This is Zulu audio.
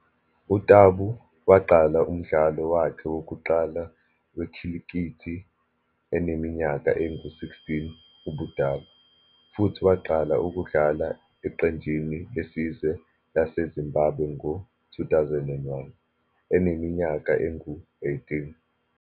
UTaibu waqala umdlalo wakhe wokuqala wekhilikithi eneminyaka engu-16 ubudala, futhi waqala ukudlala eqenjini lesizwe laseZimbabwe ngo-2001, eneminyaka engu-18.